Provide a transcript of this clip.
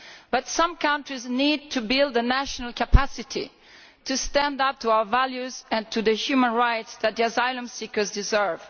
But some countries need to build a national capacity to stand up for our values and for the human rights that asylum seekers deserve.